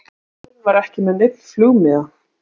Maðurinn var ekki með neinn flugmiða